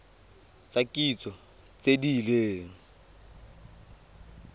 tsa kitso tse di leng